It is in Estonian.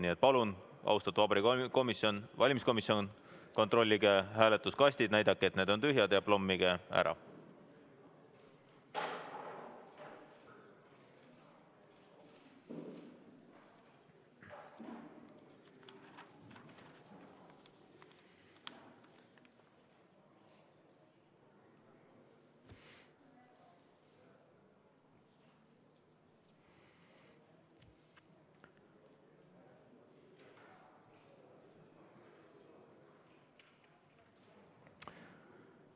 Nii et palun, austatud Vabariigi Valimiskomisjon, kontrollige hääletuskastid üle, näidake, et need on tühjad, ja plommige ära.